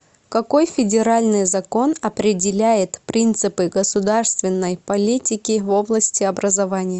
какой федеральный закон определяет принципы государственной политики в области образования